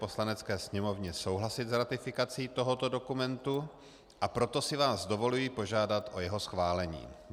Poslanecké sněmovně souhlasit s ratifikací tohoto dokumentu, a proto si vás dovoluji požádat o jeho schválení.